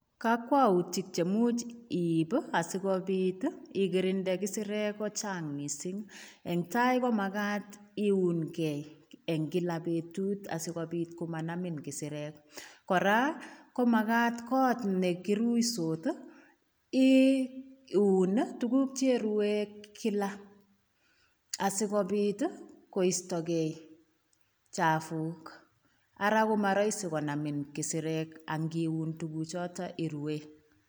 Kakwautik chemuch iip asigopit ikirinde kisirek ko chang mising. Engtai ko magat iungei eng kila betut asigopit komanamit kisireek. Kora ko magat kot ne kiruisot iun tuguk che ruen kila asigopit koistogei chafuk ara komaraisi konamin kisirek ngiun tuguchotok iruen.